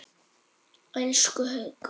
Elsku Haukur.